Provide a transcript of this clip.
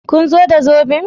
Kun zo da zoben?